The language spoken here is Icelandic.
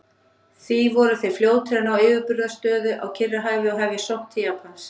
Því voru þeir fljótir að ná yfirburðastöðu á Kyrrahafi og hefja sókn til Japans.